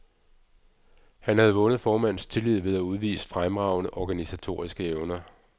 Han havde vundet formandens tillid ved at udvise fremragende organisatoriske evner.